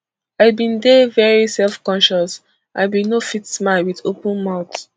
i bin dey very self conscious i bin no fit smile wit open mouth